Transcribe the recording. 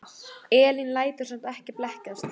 Elín lætur samt ekki blekkjast.